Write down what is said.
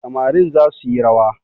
Samarin za suyi rawa